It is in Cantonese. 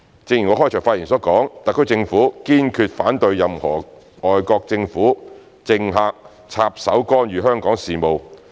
正如我開場發言所說，特區政府堅決反對任何外國政府、政客插手干預香港事務。